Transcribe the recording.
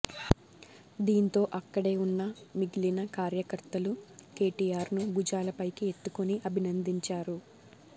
దీంతో అక్కడే ఉన్న మిగిలిన కార్యకర్తలు కెటిఆర్ను భుజాలపైకి ఎత్తుకొని అభినందించారు